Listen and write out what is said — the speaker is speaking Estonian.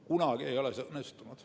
Kunagi ei ole see õnnestunud.